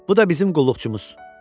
Bu da bizim qulluqçumuzdur.